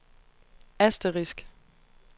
asterisk